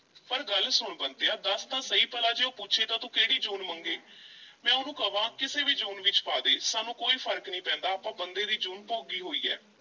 ਪਰ ਗੱਲ ਸੁਣ ਬੰਤਿਆ ਦੱਸ ਤਾਂ ਸਹੀ ਭਲਾ ਜੇ ਉਹ ਪੁੱਛੇ ਤਾਂ ਤੂੰ ਕਿਹੜੀ ਜੂਨ ਮੰਗੇਂ ਮੈਂ ਉਹਨੂੰ ਕਵਾਂ ਕਿਸੇ ਵੀ ਜੂਨ ਵਿੱਚ ਪਾ ਦੇ ਸਾਨੂੰ ਕੋਈ ਫ਼ਰਕ ਨਹੀਂ ਪੈਂਦਾ, ਆਪਾਂ ਬੰਦੇ ਦੀ ਜੂਨ ਭੋਗੀ ਹੋਈ ਐ।